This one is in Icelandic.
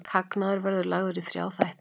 Hagnaður verður lagður í þrjá þætti